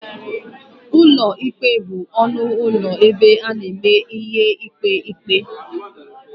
Ụlọ ikpe bụ ọnụ ụlọ ebe a na-eme ihe ikpe ikpe.